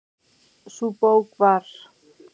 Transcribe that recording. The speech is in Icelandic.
Sú bók var